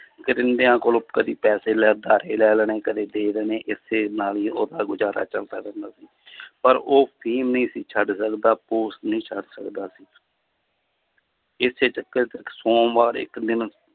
ਕੋਲੋਂ ਕਦੇ ਪੈਸੇ ਲੈ ਉਧਾਰੇ ਲੈ ਲੈਣੇ ਕਦੇ ਦੇ ਦੇਣੇ ਇਸੇ ਨਾਲ ਹੀ ਉਹਦਾ ਗੁਜ਼ਾਰਾ ਚੱਲਦਾ ਰਹਿੰਦਾ ਸੀ ਪਰ ਉਹ ਫ਼ੀਮ ਨਹੀਂ ਸੀ ਛੱਡ ਸਕਦਾ ਨਹੀਂ ਛੱਡ ਸਕਦਾ ਸੀ ਇਸੇ ਚੱਕਰ 'ਚ ਸੋਮਵਾਰ ਇੱਕ ਦਿਨ